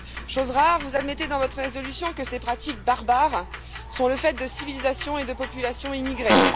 Chose rare, vous admettez dans votre résolution que ces pratiques barbares sont le fait de civilisations et de populations immigrées.